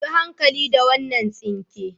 Yi hankali da wannan tsinke.